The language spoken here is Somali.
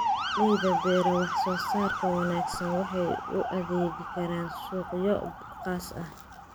Beeraleyda beera wax soo saarka wanaagsan waxay u adeegi karaan suuqyo khaas ah.